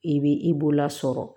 I bɛ i bolola sɔrɔ